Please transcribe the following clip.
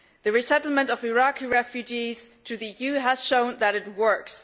The resettlement of Iraqi refugees in the EU has shown that it works.